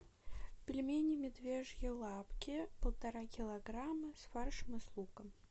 пельмени медвежьи лапки полтора килограмма с фаршем и с луком